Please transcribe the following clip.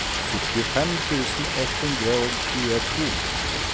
syttifem tusen ett hundre og tjueto